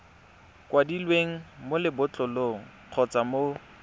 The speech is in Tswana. kwadilweng mo lebotlolong kgotsa mo